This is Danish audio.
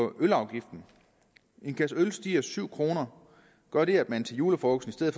ølafgiften en kasse øl stiger syv kroner gør det at man til julefrokosten i